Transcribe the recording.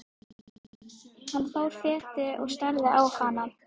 Hann fór fetið og starði á hana.